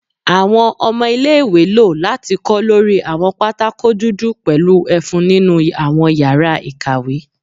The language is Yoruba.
Awọn ọmọ ile-iwe lo lati kọ lori awọn patakò dudu pẹlu efun ninu awọn yara ikawe